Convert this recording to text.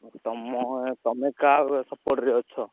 ଆଉ ତମ ତମେ କାହା support ରେ ଅଛ?